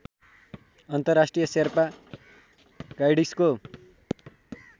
अन्तर्राष्ट्रिय शेर्पा गाइड्सको